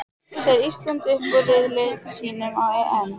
Fer Ísland upp úr riðli sínum á EM?